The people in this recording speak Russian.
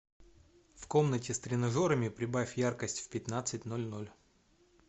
в комнате с тренажерами прибавь яркость в пятнадцать ноль ноль